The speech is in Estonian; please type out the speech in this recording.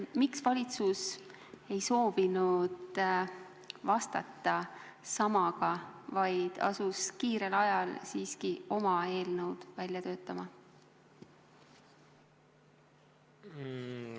Miks valitsus ei soovinud vastata samaga, vaid asus kiirel ajal siiski oma eelnõu välja töötama?